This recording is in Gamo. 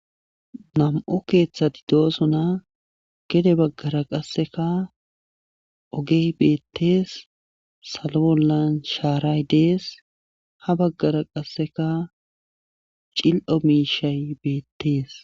nam7o keeththati doosona gede baggara qasseka ogey beettees salo bollan shaaray dees ha baggara qasseka cil7o miishay beettees